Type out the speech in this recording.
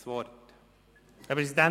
Rückweisung